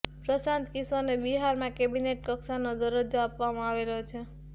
પ્રશાંત કિશોરને બિહારમાં કેબિનેટ કક્ષાનો દરજ્જો આપવામાં આવેલો છે